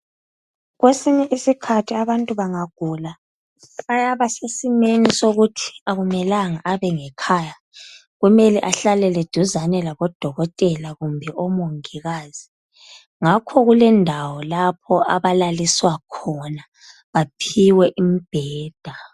Kwesinye isikhathi abantu bangagula bayaba sesimeni sokuthi akumelanga abe ngekhaya, kumele ahlalele duzane labodokotela kumbe omongikazi ngakho kulendawo lapho abalaliswa khona baphiwe umbheda.